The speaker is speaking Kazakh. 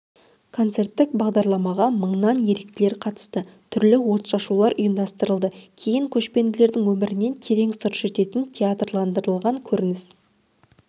концерттік бағдарламаға мыңнан еріктілер қатысты түрлі от-шашулар ұйымдастырылды кейін көшпенділердің өмірінен терең сыр шертетін театрландырылған көрініс